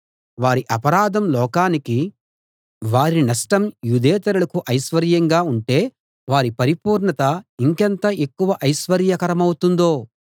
వారి అపరాధం లోకానికి వారి నష్టం యూదేతరులకు ఐశ్వర్యంగా ఉంటే వారి పరిపూర్ణత ఇంకెంత ఎక్కువ ఐశ్వర్యకరమౌతుందో